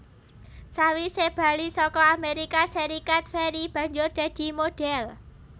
Sawise bali saka Amerika Serikat Ferry banjur dadi modhél